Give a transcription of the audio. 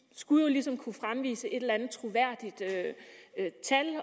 skulle jo ligesom kunne fremvise et eller andet troværdigt tal